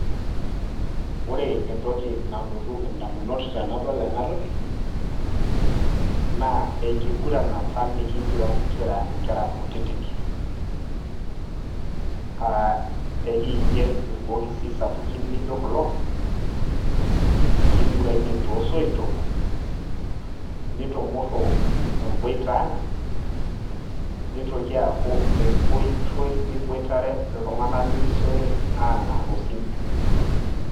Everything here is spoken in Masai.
Ore entoki nalotu indamunot tenadol enatoki, naa enkiguran apa nikiguran kira inkera kutitik. Ah ekiger irbokisi sapukin lijo kulo, likiguranie tosoitok, nitumurru eboita ang',nitoki aaku enkoitoi niboitare iltung'anak lirisiore aang'ar osim.